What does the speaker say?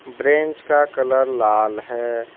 Bench का colour लाल है।